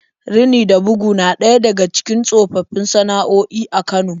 Rini da bugu na ɗaya daga cikin tsofaffin sana'o'i a Kano.